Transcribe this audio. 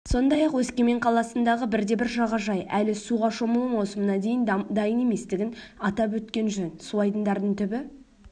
сондай-ақ өскемен қаласындағы бірде-бір жағажай әлі суға шомылу маусымына дайын еместігін атап өткен жөн суайдындардың түбі